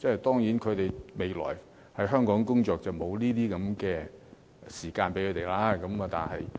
當然，他們未來在香港工作的話，便沒有午睡時間。